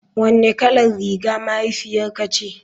Wanne kalar riga mahaifiyarka ce.